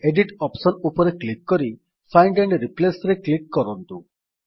edit option ଉପରେ click କରି find and Replaceରେ କ୍ଲିକ୍ କରନ୍ତୁ